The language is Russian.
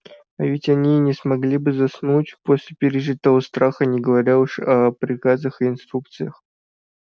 а ведь они и не смогли бы заснуть после пережитого страха не говоря уж о приказах и инструкциях